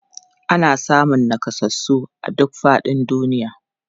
Ana samun nakasassu a duk faɗin duniya.